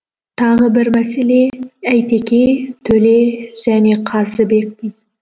тағы бір мәселе әйтеке төле және қазыбек би